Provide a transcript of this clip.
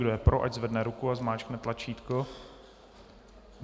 Kdo je pro, ať zvedne ruku a zmáčkne tlačítko.